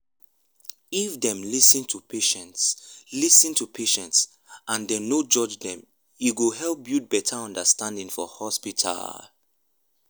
if dem lis ten to patients lis ten to patients and dem no judge them e go help build better understanding for hospital.